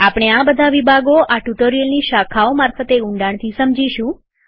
આપણે આ બધા વિભાગો આ ટ્યુટોરીયલની શાખાઓ મારફતે ઊંડાણથી સમજીશું